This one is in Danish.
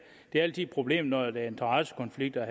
det er altid et problem når der er interessekonflikter og